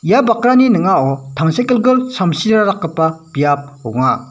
ia bakrani ning·ao tangsekgilgil samsirara dakgipa biap ong·a.